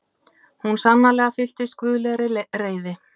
Hún sannarlega fyllst guðlegri reiði.